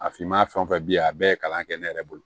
A finma fɛn o fɛn bi a bɛɛ ye kalan kɛ ne yɛrɛ bolo